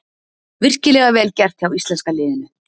Virkilega vel gert hjá íslenska liðinu.